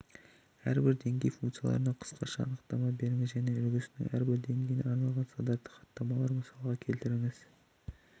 әрбір деңгей функцияларына қысқаша анықтама беріңіз және үлгісінің әрбір деңгейіне арналған стандартты хаттамаларды мысалға келтіріңіз